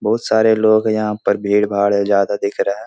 बहुत सारे लोग हैं यहाँ पर भीड़-भाड़ है ज्यादा दिख रहा है।